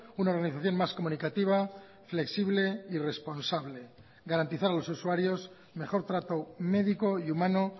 una organización más comunicativa flexible y responsable garantizar a los usuarios mejor trato médico y humano